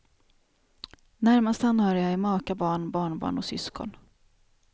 Närmast anhöriga är maka, barn, barnbarn och syskon.